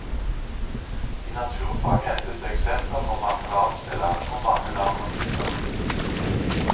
I naturfag hentes det eksempler fra mange verdensdeler og mange land og miljøer.